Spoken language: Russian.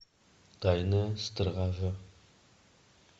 тайная стража